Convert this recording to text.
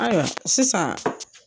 Ayiwa, sisan.